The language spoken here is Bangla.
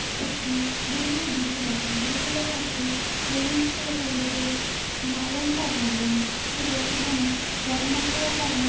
একটি বিল্ডিং এর দৃশ্য দেখানো হয়েছে যেখানে দেখা যাচ্ছে বিল্ডিং টি তে লেখা রয়েছে নালন্দা ভবন এবং এখানে বন্যা হওয়ার কারণে--